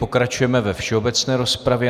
Pokračujeme ve všeobecné rozpravě.